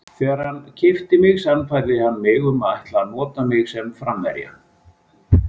Þegar hann keypti mig sannfærði hann mig að hann ætlaði að nota mig sem framherja.